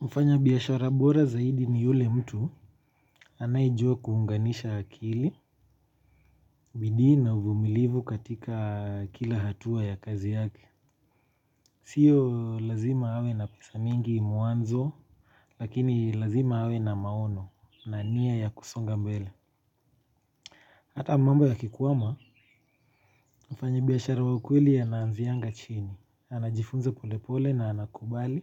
Mfanya biashara bora zaidi ni yule mtu. Anayejua kuunganisha akili bidii na uvumilivu katika kila hatua ya kazi yake. Sio lazima awe na pesa mingi mwanzo. Lakini lazima awe na maono na nia ya kusonga mbele. Hata mambo yakikwama. Mfanya biashara wa ukweli ana anzianga chini anajifunza polepole na anakubali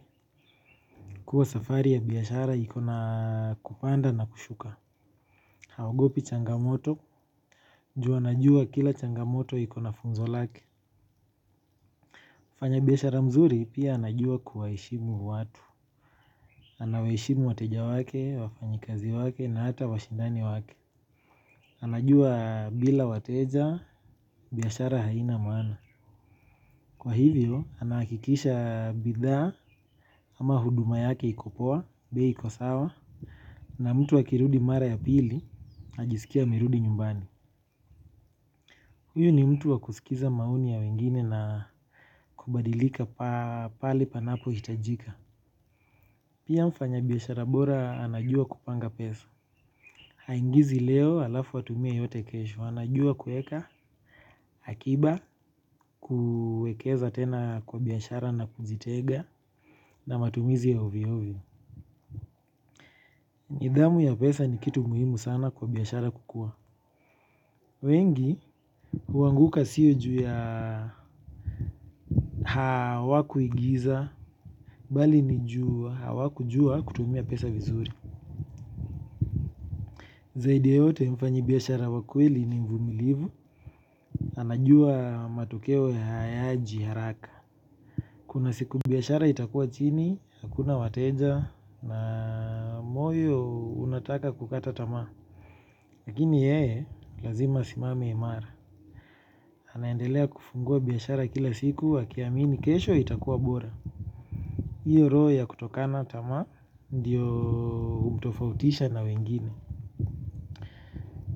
kuwa safari ya biashara iko na kupanda na kushuka. Haogopi changamoto ju anajua kila changamoto iko na funzo lake. Mfanya biashara mzuri pia anajua kuwaheshimu watu. Anawaheshimu wateja wake wafanyikazi wake na hata washindani wake. Anajua bila wateja biashara haina maana. Kwa hivyo anahakikisha bidhaa ama huduma yake iko poa bei iko sawa na mtu akirudi mara ya pili ajiskie amerudi nyumbani. Huyo ni mtu wa kusikiza maoni ya wengine na kubadilika pale panapo hitajika. Pia mfanya biashara bora anajua kupanga pesa. Haingizi leo alafu atumie yote kesho anajua kueka akiba kuekeza tena kwa biashara na kujitenga na matumizi ya ovyoovyo. Nidhamu ya pesa ni kitu muhimu sana kwa biashara kukua. Wengi huanguka sio juu ya hawakuigiza. Bali ni juu hawakujua kutumia pesa vizuri zaidi ya yote mfanyi biashara wa kweli ni mvumilivu anajua matokeo hayaji haraka kuna siku biashara itakua chini hakuna wateja na moyo unataka kukata tamaa lakini yeye lazima asimame imara anaendelea kufungua biashara kila siku akiamini kesho itakua bora hiyo roho ya kutokana tamaa ndio hutofautisha na wengine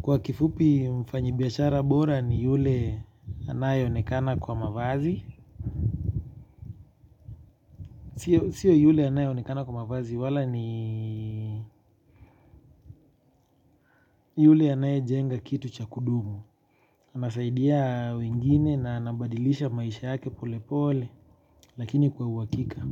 kwa kifupi mfanyibiashara bora ni yule anaye onekana kwa mavazi. Sio yule anaye onekana kwa mavazi wala ni yule anaye jenga kitu cha kudumu. Anasaidia wengine na anabadilisha maisha yake pole pole lakini kwa uhakika.